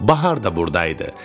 Bahar da buradaydı.